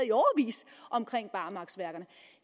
i årevis omkring barmarksværker